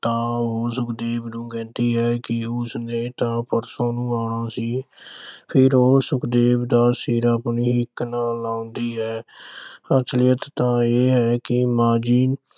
ਤਾਂ ਉਹ ਸੁਖਦੇਵ ਨੂੰ ਕਹਿੰਦੀ ਹੈ ਕਿ ਉਸਨੇ ਤਾ ਪਰਸੋਂ ਨੂੰ ਆਉਣਾ ਸੀ। ਫਿਰ ਉਹ ਸੁਖਦੇਵ ਦਾ ਸਿਰ ਆਪਣੀ ਹਿੱਕ ਨਾਲ ਲਾਉਂਦੀ ਹੈ। ਅਸਲੀਅਤ ਤਾਂ ਇਹ ਹੈ ਕਿ ਮਾਂ ਜੀ